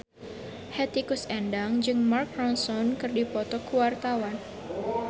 Hetty Koes Endang jeung Mark Ronson keur dipoto ku wartawan